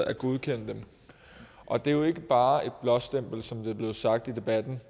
at godkende dem og det er jo ikke bare et blåstempel som det er blevet sagt i debatten